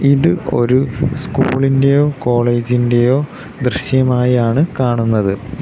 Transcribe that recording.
ഇത് ഒരു സ്കൂളിൻ്റേയോ കോളേജിൻ്റേയോ ദൃശ്യമായാണ് കാണുന്നത്.